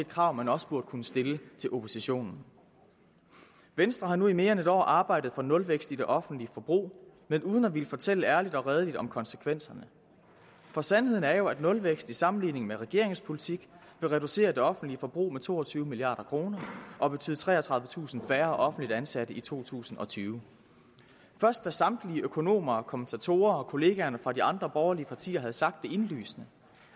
krav man også burde kunne stille til oppositionen venstre har nu i mere end en år arbejdet for nulvækst i det offentlige forbrug men uden at ville fortælle ærligt og redeligt om konsekvenserne for sandheden er jo at nulvækst sammenlignet med regeringens politik vil reducere det offentlige forbrug med to og tyve milliard kroner og betyde treogtredivetusind færre offentligt ansatte i to tusind og tyve først da samtlige økonomer og kommentatorer og kollegaerne fra de andre borgerlige partier havde sagt det indlysende